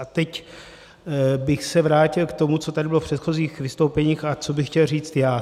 A teď bych se vrátil k tomu, co tady bylo v předchozích vystoupeních a co bych chtěl říct já.